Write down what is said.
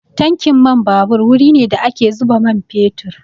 Tankin man babur wuri ne da ake zuba man fetur.